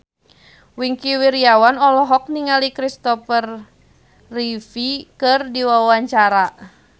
Wingky Wiryawan olohok ningali Christopher Reeve keur diwawancara